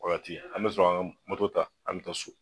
O wagati an mi sɔrɔ ka an ga ta, an mi taa so.